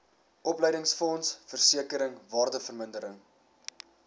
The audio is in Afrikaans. opleidingsfonds versekering waardevermindering